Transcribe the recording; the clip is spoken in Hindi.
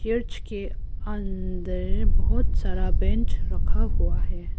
चर्च के अंदर बहुत सारा बेंच रखा हुआ है।